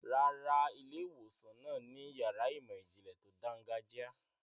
Rárá, ilé-ìwòsàn náà ni yàrá ìmọ̀-ìjìnlẹ̀ tó dáńgájíá.